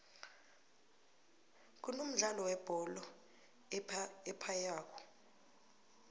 kunomdlolo webhole ephaywako